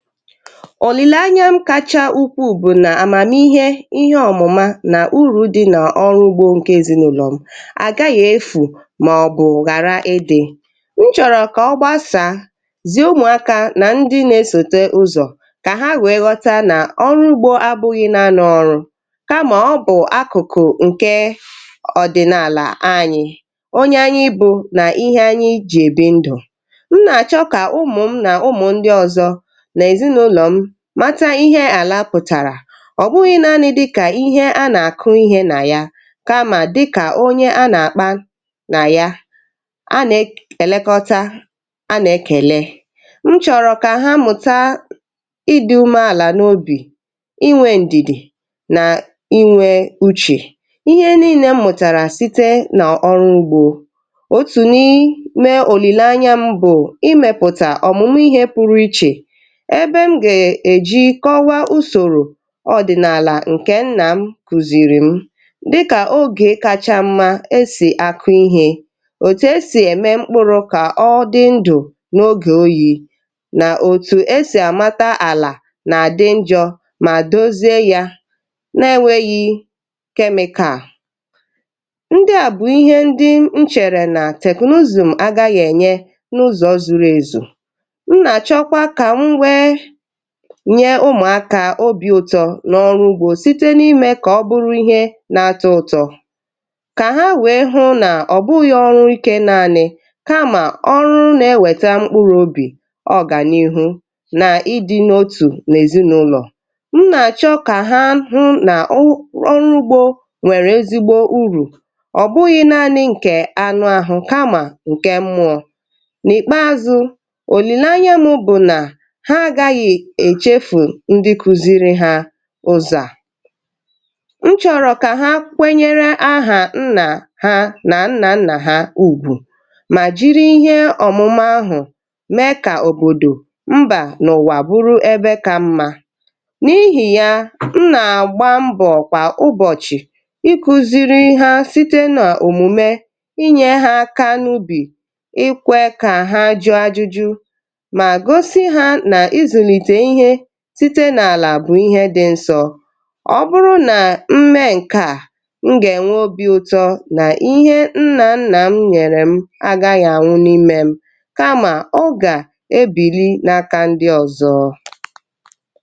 òlìlanya m kacha ukwu bụ̀ nà àmàmihe ihe ọ̀mụ̀ma nà urù dị nà ọrụ ugbȯ ǹke èzinaụlọ̀ m àgaghị̀ efù màọbụ̀ ghàra idi̇ nchọ̀rọ̀ kà ọ gbasà zì umùaka nà ndị na-esote ụzọ̀ kà ha wèe ghọta nà ọrụ ugbȯ abụghị̇ na n’ọrụ kamà ọbụ̀ akụ̀kụ̀ ǹke ọ̀dị̀naàlà anyị̇ onye anyị bụ̇ nà ihe anyị ijì èbi ndụ̀ m nà-àchọ kà ụmụ̀ m nà ụmụ̀ ndị ọ̀zọ mata ihe àla pụ̀tàrà ọ̀ bụghị̇ naanị̇ dịkà ihe a nà-àkụ ihe nà ya kamà dịkà onye a nà-àkpa nà ya anè èlekọta anà ekèle m chọ̀rọ̀ kà ha mụ̀ta ịdị̇ ume àlà n’obì inwė ǹdìdì nà inwė uchè ihe niine m mụ̀tàrà site nà ọrụ gbụ̀ otù n’ime òlìle anya mbụ̀ imėpụ̀tà òmùmù ihe pụrụ ichè ǹke m gà-èji kọwa usòrò ọ̀dị̀nàlà ǹke nnà m kùzìrì m dịkà ogè kacha mma e sì akụ̀ ihe òtù e sì ème mkpụrụ̇ kà ọ dị ndụ̀ n’ogè oyi̇ nà òtù e sì àmata àlà nà-àdị njọ̇ mà dozie yȧ na enwėghi̇ chemical ndị à bụ̀ ihe ndị nchèrè nà teknụzụ̀ m agȧghị ènye n’ụzọ̇ zuru èzù nye ụmụakà obi̇ ụtọ̇ na ọrụ ugbȯ site na imė ka ọ bụrụ ihe na-atọ̇ ụtọ̇ ka ha wee hụ nà ọ bụghị̇ ọrụ ikė naanị̇ kamà ọrụ na-eweta mkpụrụ̇ obì ọganihu na ịdị̇ n’otù na ezinụlọ̀ m nà-achọ kà ha hụ na ọrụ ugbȯ nwèrè ezigbo urù ọ bụghị̇ naanị̇ nkè anụ̇ ahụ̀ kamà ǹkè mmụọ̇ n’ikpeazụ̇ òlì na anyenu̇ bụ̀ nà echefù ndi kuziri ha ụzọ̀ à nchọ̀rọ̀ kà ha kwenyere ahà nnà ha nà nnà nnà ha ùgwù mà jiri ihe ọ̀mụ̀mụ̀ ahụ̀ mee kà òbòdò mbà n’òwà bụrụ ebe kà mmȧ n’ihì yà m nà-àgba mbọ̀ kwà ụbọ̀chị̀ iku̇ziri ha site n’òmùme inyė ha aka n’ubì ikwe kà ha jụọ ajụjụ̇ bụ̀ ihe dị nsọ̇ ọ bụrụ nà mme nke à mụ gà-enwe obi̇ ụtọ nà ihe nnà nnà m nyèrè m agaghị̀ anwụ n’imė m kamà ọ gà-ebìri n’aka ndị ọ̀zọ